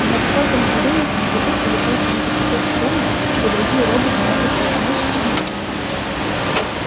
и на какое-то мгновение он забыл или просто не захотел вспомнить что другие роботы могут знать меньше чем люди